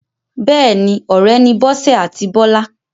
Bẹ́ẹ̀ni, ọ̀rẹ́ ni Bọ́sẹ̀ àti Bọ́lá.